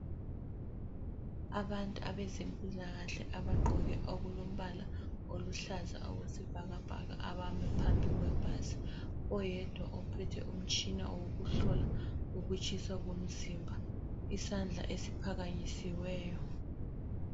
Abantu abezempilakahle abagqoke okulombala oluhlaza okwesibhakabhaka abami phambi kwebhasi, oyedwa uphethe umtshina owokuhlola ukutshisa komzimba. Isandla esiphakanyisiweyo.